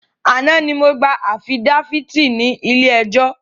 Àná ni mo gbà afidáfíítì ní ilé ẹjọ́